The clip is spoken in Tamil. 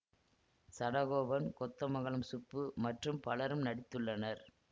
சடகோபன் கொத்தமங்கலம் சுப்பு மற்றும் பலரும் நடித்துள்ளனர்